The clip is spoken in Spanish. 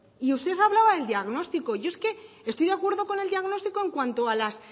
y usted hablaba de diagnóstico yo es que estoy de acuerdo con el diagnóstico